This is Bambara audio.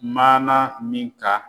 Maana min ka